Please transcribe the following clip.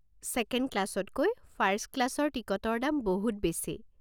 Second ক্লাছতকৈ first ক্লাছৰ টিকটৰ দাম বহুত বেছি।